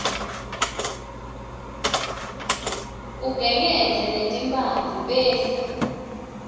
ugengedze letimphandze bese